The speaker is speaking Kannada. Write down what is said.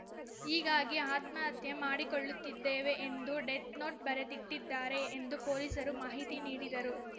ಹೀಗಾಗಿ ಆತ್ಮಹತ್ಯೆ ಮಾಡಿಕೊಳ್ಳುತ್ತಿದ್ದೇವೆ ಎಂದು ಡೆತ್‌ನೋಟ್‌ ಬರೆದಿಟ್ಟಿದ್ದಾರೆ ಎಂದು ಪೊಲೀಸರು ಮಾಹಿತಿ ನೀಡಿದರು